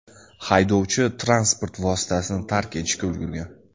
Haydovchi transport vositasini tark etishga ulgurgan.